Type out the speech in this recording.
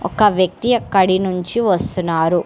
ఒక వ్యక్తి అక్కడి నుంచి వస్తున్నారు.